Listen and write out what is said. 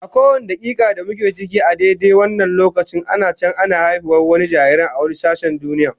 A kowane dakika da muke ciki a daidai wannan lokacin ana can ana haihuwar wani jaririn a wani sashen duniyar.